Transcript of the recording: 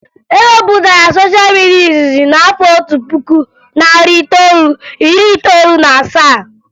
E wepụtara sosha midia izizi n'afọ otu puku, narị itoolu, iri itoolu na asaa